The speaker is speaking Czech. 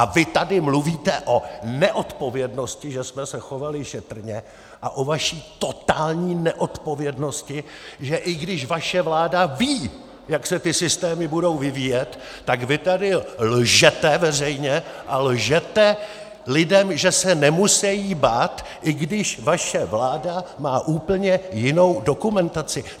A vy tady mluvíte o neodpovědnosti, že jsme se chovali šetrně, a o vaší totální neodpovědnosti, že i když vaše vláda ví, jak se ty systémy budou vyvíjet, tak vy tady lžete veřejně a lžete lidem, že se nemusejí bát, i když vaše vláda má úplně jinou dokumentaci.